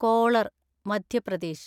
collar (Madhya Pradesh)